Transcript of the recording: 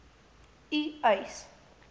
u eis